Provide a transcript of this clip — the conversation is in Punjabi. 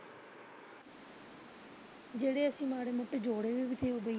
ਜਿਹੜੇ ਅਸੀ ਮਾੜੇ ਮੋਟੇ ਜੋੜੇ ਸੀ।